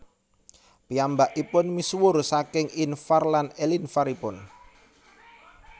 Piyambakipun misuwur saking invar lan elinvar ipun